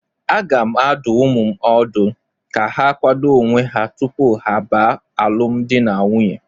Aga m adụ ụmụ m ọdụ ka ha kwado onwe ha tupu ha baa alụm di na nwunye